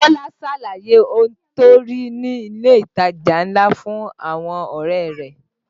Bọ́lá ṣàlàyé ohun tó rí ní ilé ìtajà ńlá fún àwọn ọ̀rẹ́ rẹ̀